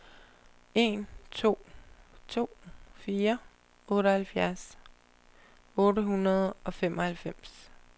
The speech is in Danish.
en to to fire otteoghalvfjerds otte hundrede og femoghalvfems